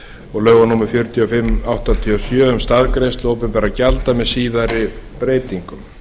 og lögum númer fjörutíu og fimm nítján hundruð áttatíu og sjö um staðgreiðslu opinberra gjalda með síðari breytingum